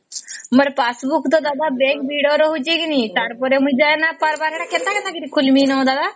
ମୋର passbook ତା ଦାଦା bank ଭିଡ ରହୁଛେ କି ନାଇଁ ? ତାର ପରେ ମୁଇ ଯାଇ ନାଇଁ ପରବାର କେନ୍ତା କେନ୍ତା କିରି ଖୋଲିମି ନ ଦାଦା ?